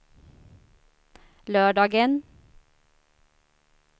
lördagen